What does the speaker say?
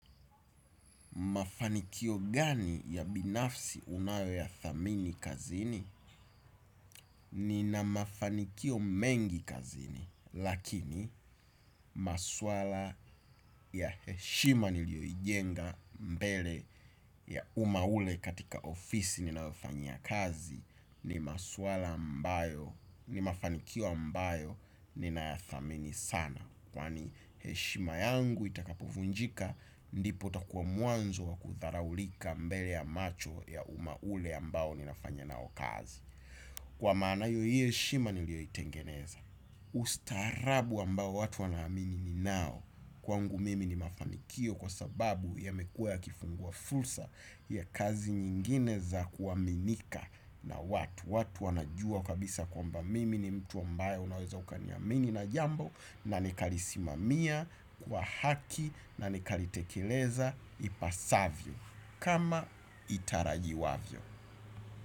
Mafanikio gani ya binafsi unayo yathamini kazini? Nina mafanikio mengi kazini, lakini maswala ya heshima niliyoijenga mbele ya umma ule katika ofisi ninaofanyia kazi ni maswala ambayo, ni mafanikio ambayo nina yathamini sana. Kwani heshima yangu itakapovunjika ndipo utakuwa mwanzo wa kudharaulika mbele ya macho ya umma ule ambao ninafanya nao kazi. Kwa maana hiyo hio heshima niliyoitengeneza. Ustaarabu ambao watu wanaamini ninao kwangu mimi ni mafanikio kwa sababu yamekua yakifungua fursa ya kazi nyingine za kuaminika na watu. Watu wanajua kabisa kwamba mimi ni mtu mbaye unaweza ukaniamini na jambo na nikalisimamia kwa haki na nikalitekeleza ipasavyo. Kama itarajiwavyo.